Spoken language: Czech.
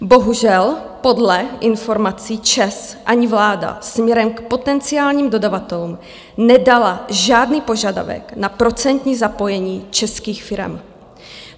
Bohužel, podle informací ČEZ ani vláda směrem k potenciálním dodavatelům nedala žádný požadavek na procentní zapojení českých firem.